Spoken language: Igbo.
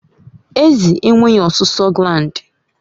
Ezi enweghị ọsụsọ gland